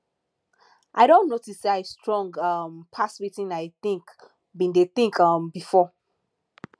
i don notice say i strong um pass wetin i think bin dey think um before